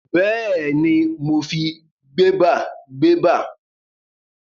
Bẹ́ẹ̀ni, mo fi gbẹ́bàgbẹ́bà